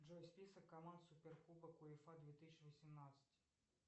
джой список команд суперкубок уефа две тысячи восемнадцать